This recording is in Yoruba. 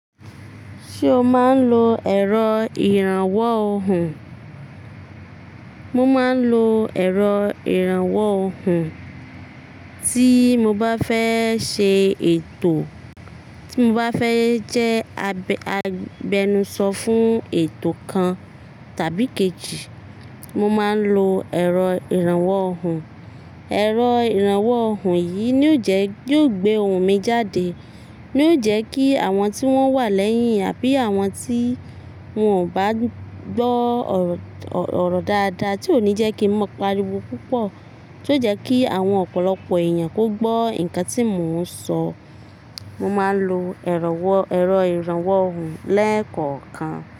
Ṣé o máa ń lo ẹ̀rọ ìrànwọ́ ohùn? Mo máa ń lo ẹ̀rọ ìrànwọ́ ohùn, tí mo bá fẹ́ ṣe ètò, tí mo bá fẹ́ jẹ agbẹnusọ fún ètò kan tàbí kejì, mo máa ń lo ẹ̀rọ ìrànwọ́ ohùn. Ẹ̀rọ ìrànwọ́ ohùn yìí ni ó jẹ, yóò gbé ohùn mi jáde, ni ó jẹ kí àwọn tí wọ́n wà lẹ́yìn àbí àwọn tí wọ́n ò bá gbọ́ ọ̀rọ̀ ọ̀rọ̀ dáadáa tí ò ní jẹ́ kí n máa pariwo púpọ̀, tí ó jẹ́ kí àwọn ọ̀pọ̀lọpọ̀ èèyàn kó gbọ́ nǹkan tí mò ń sọ. Mo máa ń lo ẹ̀rọ ìrànwọ́ ohùn lẹ́ẹ̀kọ̀ọ̀kan.